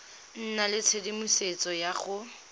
nna le tshedimosetso ya go